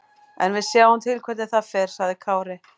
En við sjáum til hvernig það fer, sagði Kári.